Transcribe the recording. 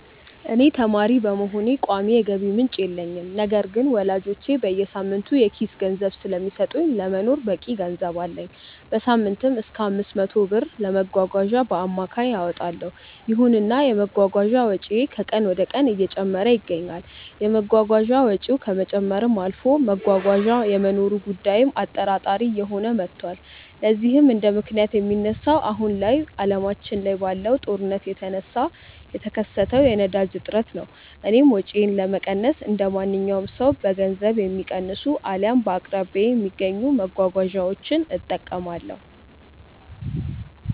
እኔ ተማሪ በመሆኔ ቋሚ የገቢ ምንጭ የለኝም። ነገር ግን ወላጆቼ በየሳምንቱ የኪስ ገንዘብ ስለሚሰጡኝ ለመኖር በቂ ገንዘብ አለኝ። በሳምንትም እሰከ 500 ብር ድረስ ለመጓጓዣ በአማካይ አወጣለው። ይሁንና የመጓጓዣ ወጪዬ ከቀን ወደቀን እየጨመረ ይገኛል። የመጓጓዣ ወጪው ከመጨመርም አልፎ መጓጓዣ የመኖሩ ጉዳይም አጠራጣሪ እየሆነ መቷል። ለዚህም እንደምክንያት የሚነሳው አሁን ላይ አለማችን ላይ ባለው ጦርነት የተነሳ የተከሰተው የነዳጅ እጥረት ነው። እኔም ወጪዬን ለመቀነስ እንደማንኛውም ሰው በገንዘብ የሚቀንሱ አልያም በአቅራቢያዬ በሚገኙ መጓጓዣዎች እጠቀማለሁ።